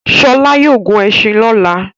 Ṣọlá yóò gun ẹṣin lọ́la.